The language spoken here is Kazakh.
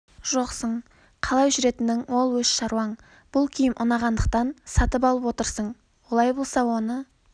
жоқсың қалай жүретінің ол өз шаруаң бұл киім ұнағандықтан сатып алып отырсың олай болса оны